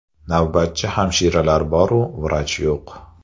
Navbatchi hamshiralar boru, vrach yo‘q.